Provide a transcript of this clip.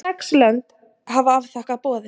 Sex lönd hafa afþakkað boðið